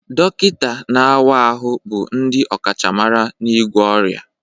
Dọkịta na-awa ahụ bụ ndị ọkachamara n'ịgwọ ọrịa